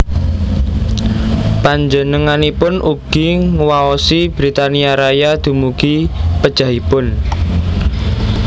Panjenenganipun ugi nguwaosi Britania Raya dumugi pejahipun